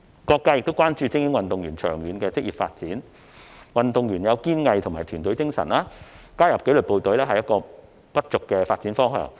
各界亦關注精英運動員長遠的職業發展，運動員具有堅毅及團隊的精神，所以加入紀律部隊是不俗的發展方向。